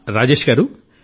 రాజేశ్ గారూ